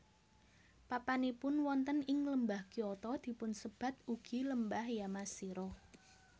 Papanipun wonten ing Lembah Kyoto dipunsebat ugi Lembah Yamashiro